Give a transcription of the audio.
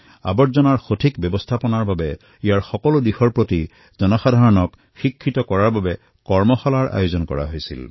জাবৰ ব্যৱস্থাপনাৰ সকলো আঁচনি সম্পৰ্কে জনসাধাৰণক শিক্ষিত কৰাৰ বাবে কৰ্মশালাৰ আয়োজন কৰা হল